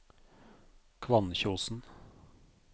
Kvannkjosen